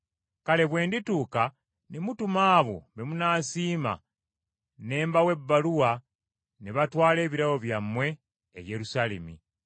Kale bwe ndituuka ne mutuma abo be munaasiima ne mbawa ebbaluwa ne batwala ebirabo byammwe e Yerusaalemi.